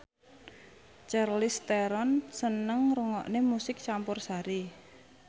Charlize Theron seneng ngrungokne musik campursari